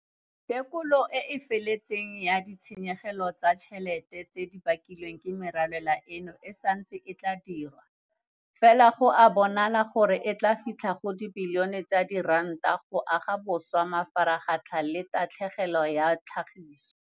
Tekolo e e feletseng ya ditshenyegelo tsa ditšhelete tse di bakilweng ke merwalela eno e santse e tla dirwa, fela go a bonala gore e tla fitlha go dibilione tsa diranta go aga sešwa mafaratlhatlha le tatlhegelo ya tlhagiso.